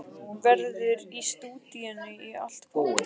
Verður í stúdíóinu í allt kvöld.